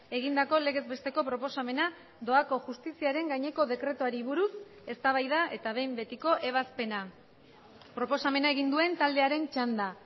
egindako legez besteko proposamena doako justiziaren gaineko dekretuari buruz eztabaida eta behin betiko ebazpena proposamena egin duen taldearen txanda